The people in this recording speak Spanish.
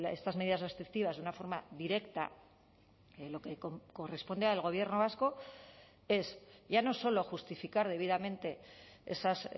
estas medidas restrictivas de una forma directa lo que corresponde al gobierno vasco es ya no solo justificar debidamente esas